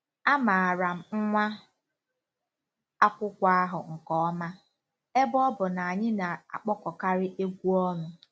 Amaara m nwa akwụkwọ ahụ nke ọma, ebe ọ bụ na anyị na-akpọkọkarị egwú ọnụ.